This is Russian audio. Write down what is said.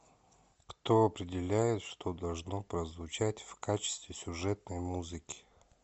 кто определяет что должно прозвучать в качестве сюжетной музыки